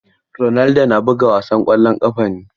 Ronaldo na buga wasan ƙwallon ƙafa ne.